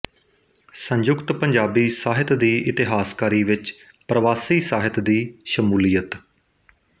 ਸੰਯੁਕਤ ਪੰਜਾਬੀ ਸਾਹਿਤ ਦੀ ਇਤਿਹਾਸਕਾਰੀ ਵਿੱਚ ਪਰਵਾਸੀ ਸਾਹਿਤ ਦੀ ਸ਼ਮੂਲੀਅਤ